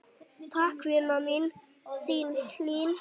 Takk, vina mín, þín Hlín.